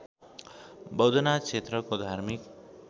बौद्धनाथ क्षेत्रको धार्मिक